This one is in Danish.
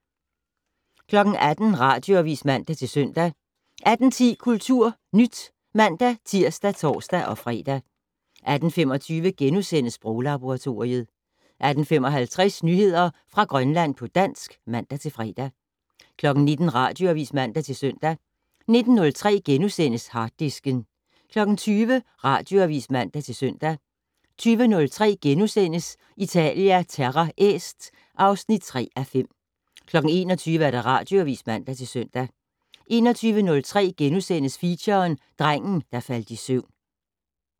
18:00: Radioavis (man-søn) 18:10: KulturNyt (man-tir og tor-fre) 18:25: Sproglaboratoriet * 18:55: Nyheder fra Grønland på dansk (man-fre) 19:00: Radioavis (man-søn) 19:03: Harddisken * 20:00: Radioavis (man-søn) 20:03: Italia Terra Est (3:5)* 21:00: Radioavis (man-søn) 21:03: Feature: Drengen, der faldt i søvn *